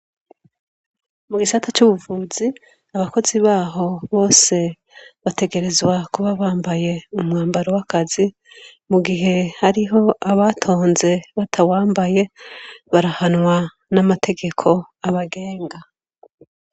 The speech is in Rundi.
Mu gisata c'ubuvuzi abakozi baho bose bategerezwa kuba bambaye umwambaro w'akazi mu gihe hariho abatonze batawambaye barahanwa n'amategeko abagenga.